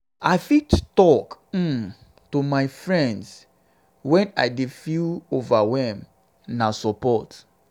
i fit talk um to um my friends um when i dey feel overwhelmed; na support.